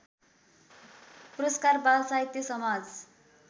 पुरस्कार बालसाहित्य समाज